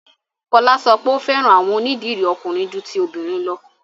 Fọla sọ pé o fẹ́ran awọn onídírí ọ̀kùnrin jù tí obìnrin lọ̀.